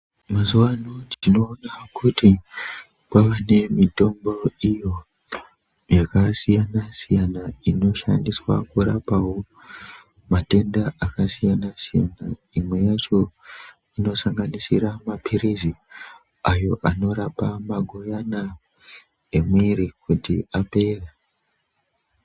Mazuva ano tinoona kuti kwava ne mitombo iyo yaka siyana siyana ino shandiswa kurapawo matenda aka siyana siyana imwe yacho ino sanganisira mapirizi ayo anorapa magoyana emwiri kuti apere.